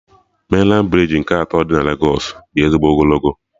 Mainlandị brij nke atọ dị na Legos dị ezigbo ogologo